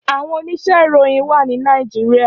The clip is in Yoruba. Áwòn óníṣè iróyin wà ni Nàijiriá